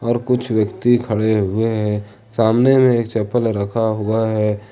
और कुछ व्यक्ति खड़े हुए हैं सामने में एक चप्पल रखा हुआ है।